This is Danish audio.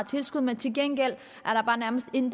tilskud men til gengæld er der bare nærmest ingen